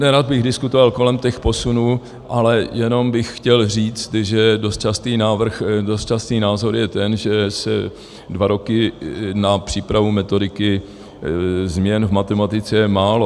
Nerad bych diskutoval kolem těch posunů, ale jenom bych chtěl říct, že dost častý názor je ten, že dva roky na přípravu metodiky změn v matematice je málo.